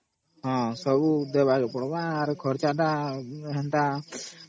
ସବୁ ଦେବାକେ ପଡିବ ଆଉ ଖର୍ଚ୍ଚଟା